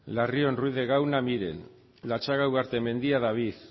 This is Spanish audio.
larrion ruiz de gauna miren latxaga ugartemendia david